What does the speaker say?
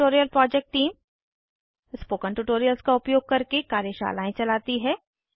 spoken tutorial project team spoken tutorials का उपयोग करके कार्यशालाएं चलाती है